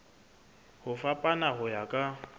ho fapana ho ya ka